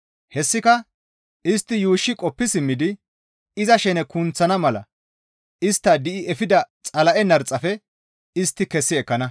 Hessika istti yuushshi qoppi simmidi iza shene kunththana mala istta di7i efida Xala7e narxafe istti kessi ekkana.